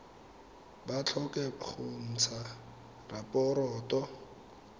ba tlhoke go ntsha raporoto